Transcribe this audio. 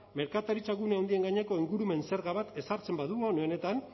merkataritzagune handien gaineko ingurumen zerga bat ezartzen badugu une honetan